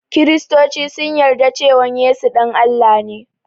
Kristoci sun yarda cewan Yesu ɗan Allah ne